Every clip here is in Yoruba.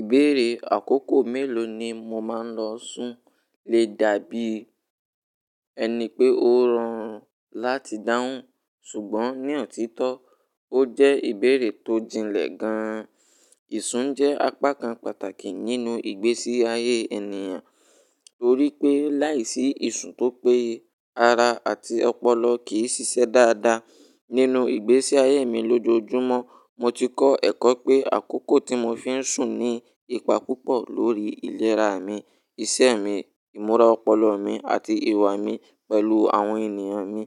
Ìbéèrè àkókò mélòó ni mo máa ń lọ sùn lè dàbí ẹni pé ó rọrùn láti dáhùn, ṣùgbọ́n ní ọ̀títọ́, ó jẹ́ ìbéèrè tó jinlẹ̀ gan-an. Ìsùn jẹ́ apá kan pàtàkì nínú ìgbésí ayé ènìyàn torí pé láìsí ìsùn tó péye, ara àti ọpọlọ kì í ṣiṣẹ́ dáadáa. Nínú ìgbésí ayé mi lójoojúmọ́, mo ti kọ́ ẹ̀kọ́ pé àkókò tí mo fi ń sùn ní ipa púpọ̀ lórí ìlera mi, ìṣe mi, ìmúra ọpọlọ mi àti ìwà mi pẹ̀lú àwọn ènìyàn mi.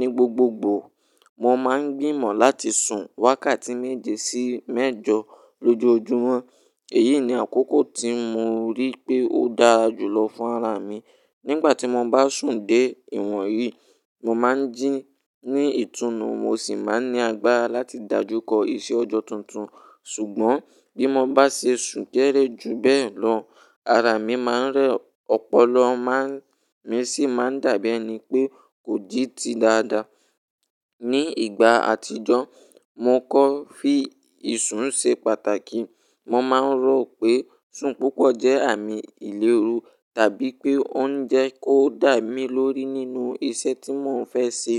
Ni gbogbogbòò, mo máa ń gbìmọ̀ láti sùn wákàtí méje sí mẹ́jọ lójoojúmọ́. Èyí ni àkókò tí mo rí pé ó dára jùlọ fún ara mi. Nígbà tí mo bá sùn dé ìwọ̀n yìí, mo máa ń jí ní ìtùnú, mo sì máa ń ní agbára láti dájú kọ iṣẹ́ ọjọ́ tuntun. Ṣùgbọ́n bí mo bá ṣe sùn kéré ju bẹ́ẹ̀ lọ, ara mi máa ń rẹ̀, ọpọlọ mi sì máa ń dàbí ẹni pé kò jí ti dáadáa. Ni ìgbà àtijọ́, mo kọ́ fí ìsùn ṣe pàtàkì. Mo máa ń rò pé sùn púpọ̀ jẹ́ àmì ìléru tàbí pé ó ń jẹ́ kó dà mí lórí nínú iṣẹ́ tí mò ń fẹ́ ṣe.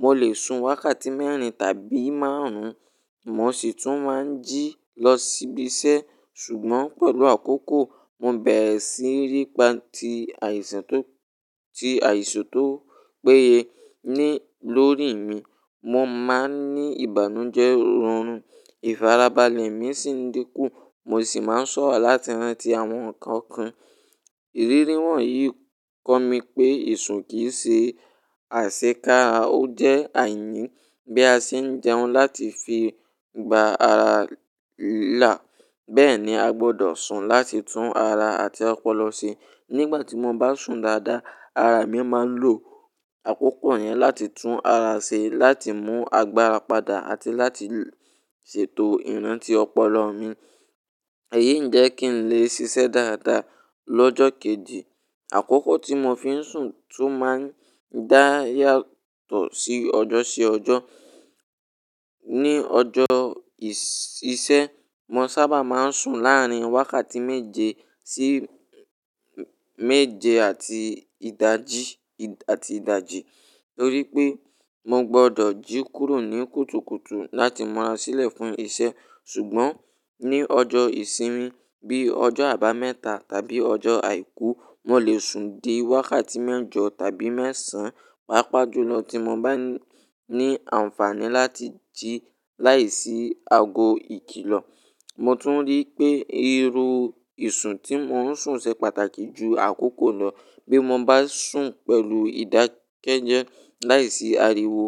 Mo lè sùn wákàtí mẹ́rin tàbí márùn-ún, mo sì tún máa ń jí lọ síbi iṣẹ́. Ṣùgbọ́n pẹ̀lú àkókò, mo bẹ̀rẹ̀ sí ní ri ti àìsàn tó péye lórí mi. Mo máa ń ní ìbànújẹ́ orùn, ìfàrabalẹ̀ mi sì ń dínkù, mo sì máa ń ṣọ̀wọ̀ láti rántí àwọn nǹkan kan. Ìrírí wọ̀nyí kọ́ mi pé ìsùn kì í ṣe àṣẹ kára, ó jẹ́ àyíyí bí a ṣe ń jẹun láti fi gba ara là. Bẹ́ẹ̀ ni a gbọ́dọ̀ sùn láti tún ara àti ọpọlọ ṣe. Nígbà tí mo bá sùn dáadáa, ara mi máa ń lo àkókò yẹn láti tún ara ṣe, láti mú agbára padà àti láti ṣètò ìrántí ọpọlọ mi. Èyí ń jẹ́ kí n lè ṣiṣẹ́ dáadáa lọ́jọ́ kejì. Àkókò tí mo fi ń sùn tún máa ń dàbí yàtọ̀ sí ọjọ́ sí ọjọ́. Ni ọjọ́ ìṣe, mo sábà máa ń sùn láàrin wákàtí méje sí méje àti ìdájí nítorí pé mo gbọ́dọ̀ jí kúrò ní kùtùkùtù láti mura sílẹ̀ fún iṣẹ́. Ṣùgbọ́n ní ọjọ́ ìsinmi bí ọjọ́ àbámẹ́ta tàbí ọjọ́ àìkú, mo lè sùn dé wákàtí mẹ́jọ tàbí mẹ́sàn-án, pàápàá ju lọ tí mo bá ní àǹfààní láti jí láìsí ago ìkìlọ̀. Mo tún rí pé irú ìsùn tí mò ń sùn ṣe pàtàkì ju àkókò náà. Bí mo bá sùn pẹ̀lú ìdákẹ́jẹ́ láìsí ariwo,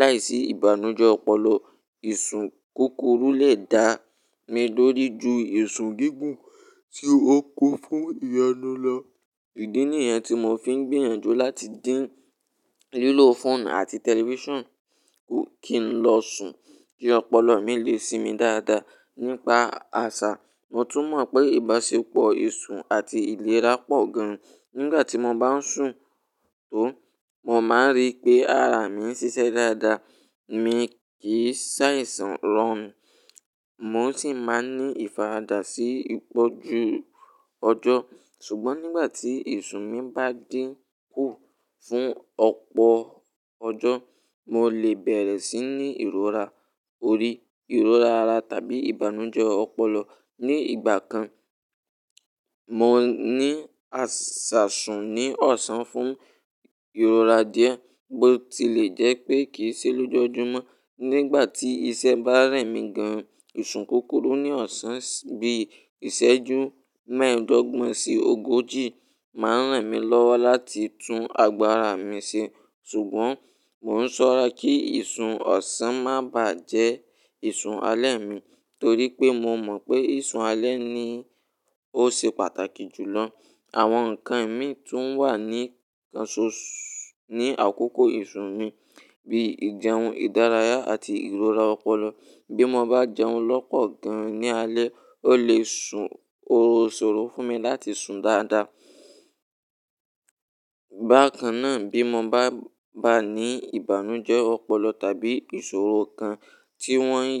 láìsí ìbànújẹ́ ọpọlọ, ìsùn kúkúrú lè dá mi lórí ju ìsùn gígùn tí ó kún fún ìyẹ́nú lọ. Ìdí nìyẹn tí mo fi ń gbìyànjú láti dín lílò fóònù àti tẹlifíṣàn kí n lè lọ sùn kí ọpọlọ mi lè ṣi mi dáadáa. Nípa àṣà, mo tún mọ̀ pé ìbáṣepọ̀ ìsùn àti ìlera pọ̀ gan. Nígbà tí mo bá ń sùn tó, mo máa ń rí pé ara mi ń ṣiṣẹ́ dáadáa, mi kì í ṣàìsàn rọrùn, mo sì máa ń ní ìfara dá sí ipò ju ọjọ́. Ṣùgbọ́n nígbà tí ìsùn mi bá dín kù fún ọ̀pọ̀ ọjọ́, mo lè bẹ̀rẹ̀ sí ní ìrora orí, ìrora ara tàbí ìbànújẹ́ ọpọlọ. Ni ìgbà kan, mo ní àṣà sùn ní ọ̀sán fún ìrora díẹ̀ bó ti lè jẹ́ pé kì í ṣe lójoojúmọ́. Nígbà tí iṣẹ́ bá rẹ̀ mí gan-an, ìsùn kúkúrú ní ọ̀sán bí ìṣẹ́jú mẹ́ẹ̀ẹ́dọ́gbọ̀n sí ogójì máa ń ràn mí lọ́wọ́ láti tún agbára mi ṣe. Ṣùgbọ́n mò ń ṣọ́ra kí ìsùn ọ̀sán má bàá jẹ ìsùn alẹ́ mi nítorí pé mo mọ̀ pé ìsùn alẹ́ ni ó ṣe pàtàkì jùlọ. Àwọn nǹkan mi tún wà ní àkókò ìsùn mi bíi ìjẹun, ìdárayá àti ìrora ọpọlọ. Bí mo bá jẹun lọ́pọ̀ gan ní alẹ́, ó lè sún ò sóró fún mi láti sùn dáadáa. Bàkan náà bí mo bá ní ìbànújẹ́ ọpọlọ tàbí ìṣòro kan tí wọ́n yí.